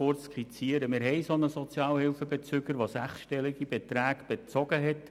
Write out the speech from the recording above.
Wir haben einen solchen Sozialhilfebezüger, der unrechtmässig sechsstellige Beträge bezogen hat.